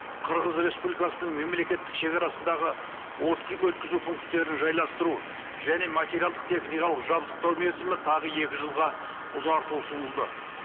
қырғыз республикасының мемлекеттік шегарасындағы өткізу пункттерін жайластыру және материалдық техникалық жабдықтау мерзімі тағы екі жылға ұзартуы ұсынылды